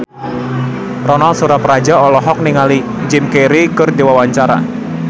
Ronal Surapradja olohok ningali Jim Carey keur diwawancara